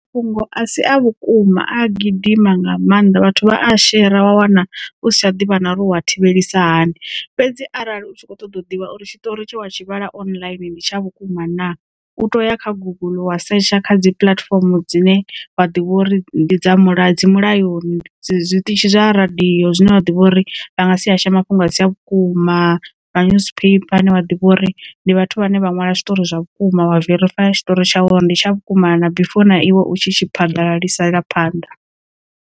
Mafhungo a si a vhukuma a gidima nga maanḓa vhathu vha a shera wa wana usi tsha ḓivha na ro wa thivhelisa hani. Fhedzi arali u kho ṱoḓa u ḓivha uri tshitori tshe wa tshi vhala online ndi tsha vhukuma na u to ya kha guguḽu wa setsha kha dzi puḽatifomo dzine wa ḓivha uri ndi dza dzi mulayoni zwiṱitshi zwa radio zwine wa ḓivha uri vha nga si hasha mafhungo a si a vhukuma ma newspaper ane vha ḓivha uri ndi vhathu vhane vha nwala zwiṱori zwa vhukuma wa verifayiwa tshiṱori tshawe uri ndi tsha vhukuma na na before na iwe u tshi tshi phaḓalalisela phanḓa.